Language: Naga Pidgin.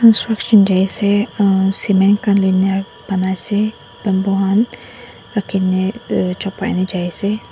struction jaise ahh cement khan luine banai ase bamboo han rakhine uh chupaine jaise.